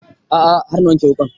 A'a har na wanke wuƙan